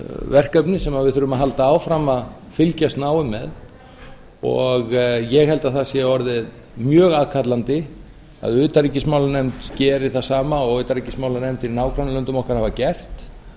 verkefni sem við þurfum að halda áfram að fylgjast náið með og ég held að það sé orðið mjög aðkallandi að utanríkismálanefnd geri það sama og utanríkismálanefndir í nágrannalöndum okkar hafa gert